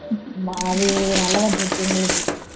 அது நல்லதா போச்சு எங்களுக்கு